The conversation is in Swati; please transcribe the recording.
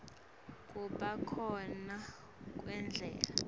kuba khona kwendlala